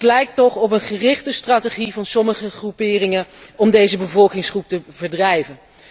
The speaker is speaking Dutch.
Dat lijkt toch op een gerichte strategie van sommige groeperingen om deze bevolkingsgroep te verdrijven.